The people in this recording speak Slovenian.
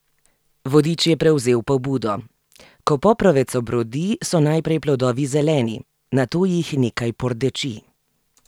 Vodič je prevzel pobudo: "Ko poprovec obrodi, so najprej plodovi zeleni, nato jih nekaj pordeči.